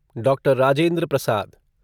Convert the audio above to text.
doctor Rajendra Prasad